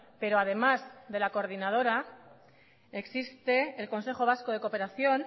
pero además de la coordinadora existe el consejo vasco de cooperación